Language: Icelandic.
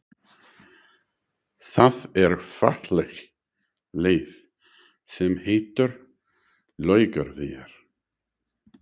Það er falleg leið sem heitir Laugavegur.